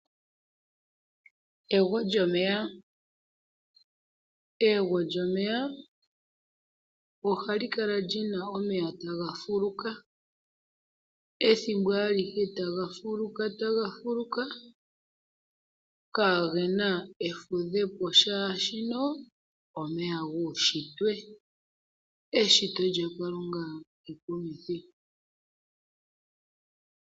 Egwo lyomeya. Egwo lyomeya oha likala lina omeya ta ha fuluka, ethimbo alihe ta ga fuluka ta ga fuluka, kaagena efudhepo shashino omeya uunshitwe. Eshito lyaKalunga oli holike.